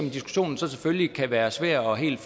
i diskussionen selvfølgelig kan være svært helt